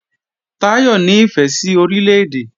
Táyọ̀ ní ìfẹ́ sí Orílè-èdè